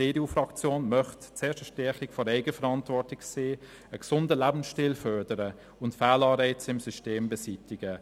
Die EDU-Fraktion möchte zuerst eine Stärkung der Eigenverantwortung sehen, einen gesunden Lebensstil fördern und Fehlanreize im System beseitigen.